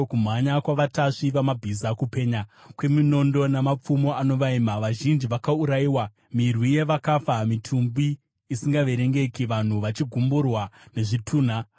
Kumhanya kwavatasvi vamabhiza, kupenya kweminondo namapfumo anovaima! Vazhinji vakaurayiwa, mirwi yevakafa, mitumbi isingaverengeki, vanhu vachigumburwa nezvitunha.